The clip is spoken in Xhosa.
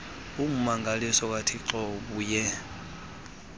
ummangaliso kathixo ubuye